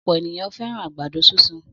Ọ̀pọ̀ ènìyàn fẹ́ràn àgbàdo sísun.